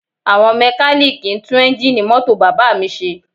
Àwọn mẹ́kalíìkì ń tún eńjíìnì mọ́tò bàbá mi ṣe